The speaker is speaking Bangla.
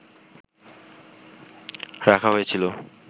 রাখা হয়েছিল